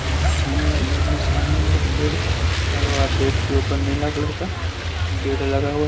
इसमें जिसमें सामने में एक बेड लगा हुआ है बेड के ऊपर नीला कलर का बेड लगा हुआ है।